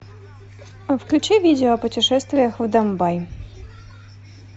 включи видео о путешествиях в домбай